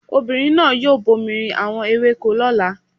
Ọmọbìnrin náà yóò bomi rin àwọn ewéko lọ́la.